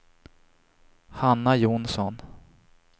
Hanna Johnsson